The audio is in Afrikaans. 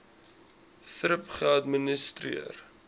thrip geadministreer